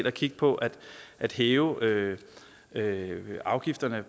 at kigge på at hæve at hæve afgifterne